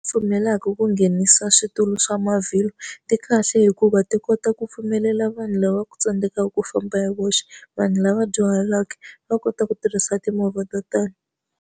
Pfumelaka ku nghenisa switulu swa mavhilwa, ti kahle hikuva ti kota ku pfumelela vanhu lava tsandzekaka ku famba hi voxe, vanhu lava dyuhaleke va kota ku tirhisa timovha to tani.